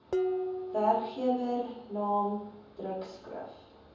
werkgewer naam drukskrif